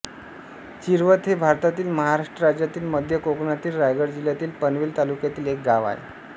चिरवत हे भारतातील महाराष्ट्र राज्यातील मध्य कोकणातील रायगड जिल्ह्यातील पनवेल तालुक्यातील एक गाव आहे